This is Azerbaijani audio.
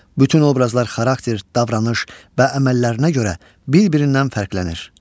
Bütün obrazlar xarakter, davranış və əməllərinə görə bir-birindən fərqlənir.